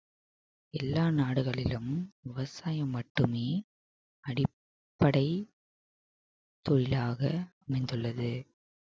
எல்லா நாடுகளிலும் விவசாயம் மட்டுமே அடிப்படை தொழிலாக அமைந்துள்ளது